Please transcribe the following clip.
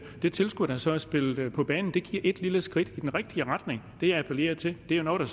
det tilskud der så er spillet på banen det giver et lille skridt i den rigtige retning det jeg appellerer til er noget der